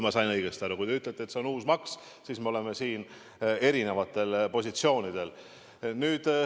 Kui te ütlete, et see on uus maks, siis me oleme siin erinevatel positsioonidel.